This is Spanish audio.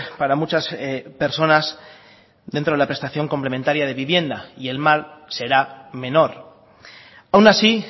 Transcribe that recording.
para muchas personas dentro de la prestación complementaria de vivienda y el mal será menor aun así